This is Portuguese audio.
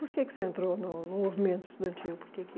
Por que que você entrou no num movimento estudantil?